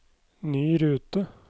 ny rute